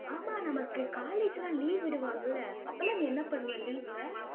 ஆமா, நமக்கு college லாம் leave விடுவாங்கல்ல? அப்பெல்லாம் நீ என்ன பண்ணுவ leave ல?